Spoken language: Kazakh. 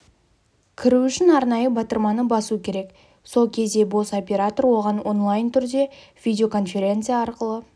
кіру үшін арнайы батырманы басу керек сол кезде бос оператор оған онлайн түрде видеоконференция арқылы